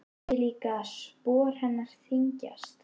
Sé líka að spor hennar þyngjast.